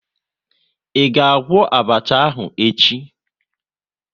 Ị ga-agwọ abacha ahụ echi?